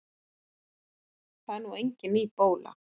Það er nú engin ný bóla.